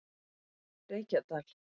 Reykjadal